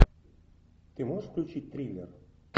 ты можешь включить триллер